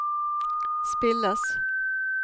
spilles